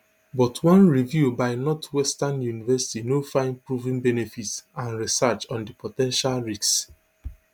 but one review by northwestern university no find proven benefits and research on di po ten tial risks